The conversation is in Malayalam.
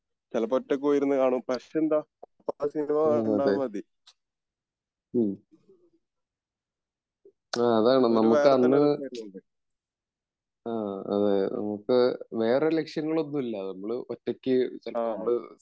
ചെലപ്പോ ഒറ്റക് പോയി ഇരുന്ന് കാണും പക്ഷെ എന്താ സിനിമ കണ്ടാൽ മതി. ഒരു വേറെത്തന്നെ ഒരു ഉണ്ട് .ആ